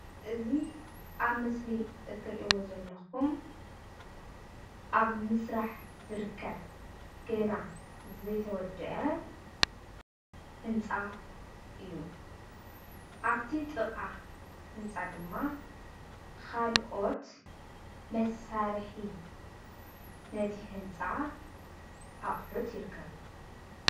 እዚ ኣብ ምስሊ እትርእዎ ዘለኩም ኣብ ምስራሕ ዝርከብ ገና ዘይተወደአ ህንፃ እዩ፡፡ ኣብቲ ጥቃ ህንፃ ድማ ካልኦት መሳርሒ ነቲ ህንፃ ኣቁሕት ይርከብዎ፡፡